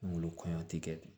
Golo kɔɲɔ tɛ kɛ